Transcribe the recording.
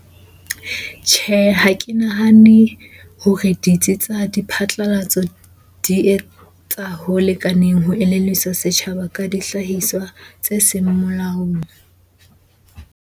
Tjhe, ha ke nahane hore ditsi tsa diphatlalatso di etsa ho lekaneng ho elelliswa setjhaba ka dihlahiswa tse seng molaong.